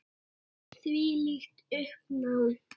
Þvílíkt uppnám.